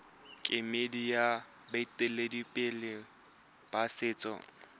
kemedi ya baeteledipele ba setso